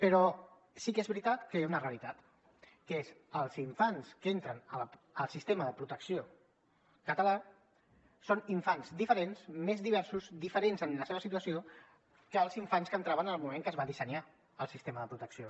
però sí que és veritat que hi ha una realitat que és els infants que entren al sistema de protecció català són infants diferents més diversos diferents en la seva situació dels infants que entraven en el moment en què es va dissenyar el sistema de protecció